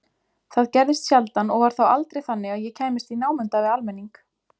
Það gerðist sjaldan og var þá aldrei þannig að ég kæmist í námunda við almenning.